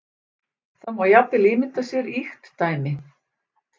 Það má jafnvel ímynda sér ýkt dæmi.